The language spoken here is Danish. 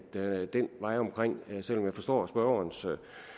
den vej omkring selv om jeg forstår spørgerens